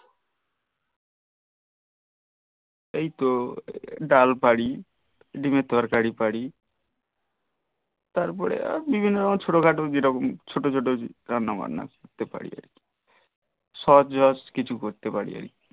ঐ তো ডাল পারি ডিমের তরকারি তারপরে বিভিন্ন রকম ছোট খাট জেরকম ছোট ছোট রান্না বান্না করতে পারি সহজ সহজ কিছু করতে পারি আর কি